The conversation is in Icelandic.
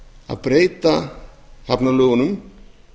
að breyta hafnalögunum